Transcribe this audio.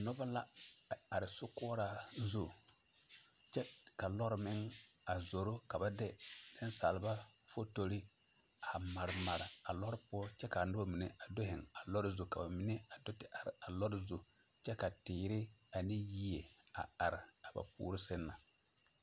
Nobɔ la a are sokoɔraa zu kyɛ ka lɔɔre meŋ a zoro ka ba de nensaalba fotore a mare mare a lɔɔre poɔ kyɛ kaa nobɔ mine zeŋ a lɔɔre zu kyɛ ka ba mine a do te are a lɔɔre zu kyɛ ka teere ane yie a are a ba puore seŋ na.